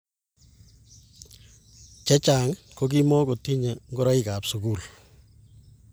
Chechang ko kimukotinyei ngoroikab sukul